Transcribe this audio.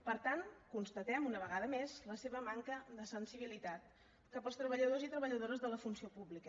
per tant constatem una vegada més la seva manca de sensibilitat cap als treballadors i treballadores de la funció pública